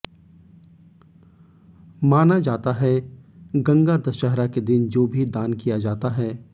मान जाता है गंगा दशहरा के दिन जो भी दान किया जाता है